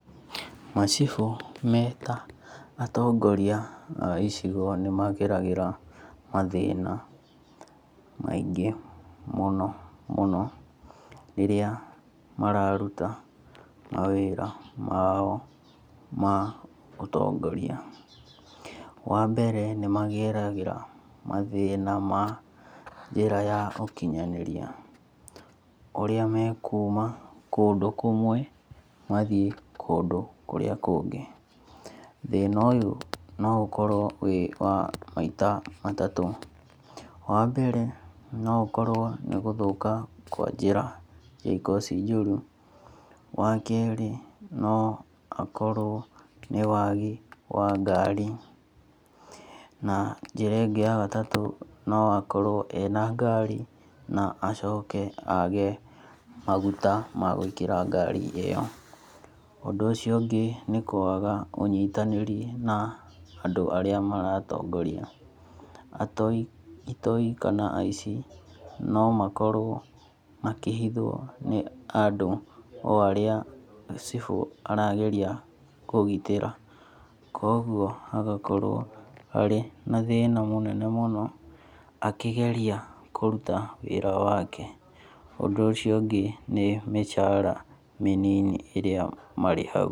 Macibũ me ta atongoria a icigo nĩ mageragĩra mathĩna maingĩ mũno mũno rĩrĩa mararuta mawĩra mao ma ũtongoria. Wambere nĩ mageragĩra mathĩna ma njĩra ya ũkinyanĩria, ũrĩa mekuma kũndũ kũmwe mathiĩ kũndũ kũrĩa kũngĩ. Thĩna ũyũ no ũkorwo wĩ wa maita matatũ. Wambere no ũkorwo nĩ gũthũka kwa njĩra cikorwo ci njũru. Wakerĩ no akorwo nĩwagi wa ngari na njĩra ĩngĩ ya gatatũ no akorwo ena ngari na acoke age maguta magwĩkĩra ngari ĩyo. Ũndũ ũcio ũngĩ nĩkwaga ũnyitanĩri na andũ arĩa maratongoria, atoi, itoi kana aci no makorwo makĩhithwo nĩ andũ o arĩa cibũ arageria kũgitĩra. Koguo hagakorwo harĩ na thĩna mũnene mũno akĩgeria kũruta wĩra wake. Ũndũ ũcio ũngĩ nĩ mĩcara mĩnini ĩrĩa marĩhagwo.